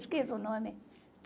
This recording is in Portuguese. Esqueci o nome.